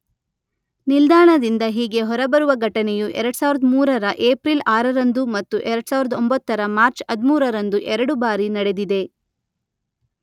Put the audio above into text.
ನಿಲ್ದಾಣದಿಂದ ಹೀಗೆ ಹೊರಬರುವ ಘಟನೆಯು ಎರಡು ಸಾವಿರದ ಮೂರರ ಏಪ್ರಿಲ್ ಆರರಂದು ಮತ್ತು ಎರಡು ಸಾವಿರದ ಒಂಬತ್ತರ ಮಾರ್ಚ್ ಹದ್ಮೂರರಂದು ಎರಡು ಬಾರಿ ನಡೆದಿದೆ.